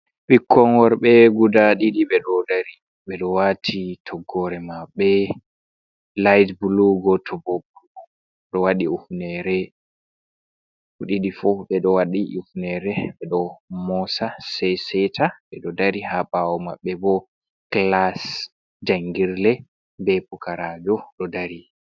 Ɓikkon worɓe guda ɗiɗi ɓeɗo dari ɓeɗo wati toggore maɓɓe liht bulu goto bo ɗo wadi ufnerbedo ɓe ɗiɗi ɓeɗo wati ufnere ɓeɗo mosa sai seta ɓe ɗo dari haɓawo maɓɓe bo kilas jangirle be pukarajo ɗo dari.